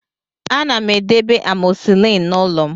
Ana m edebe amoxicillin n'ụlọ m